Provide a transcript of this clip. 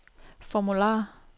formular